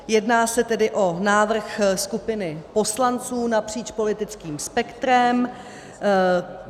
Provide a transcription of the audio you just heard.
Jedná se tedy o návrh skupiny poslanců napříč politickým spektrem.